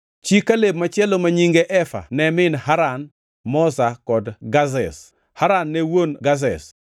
Chi Kaleb machielo ma nyinge Efa ne min Haran, Moza kod Gazez. Haran ne wuon Gazez.